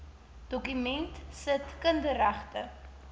dokument sit kinderregte